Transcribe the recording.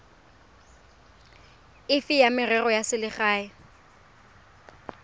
efe ya merero ya selegae